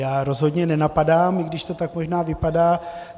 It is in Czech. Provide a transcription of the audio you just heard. Já rozhodně nenapadám, i když to tak možná vypadá.